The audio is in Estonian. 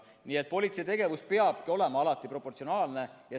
Nii et politsei tegevus peabki olema alati proportsionaalne.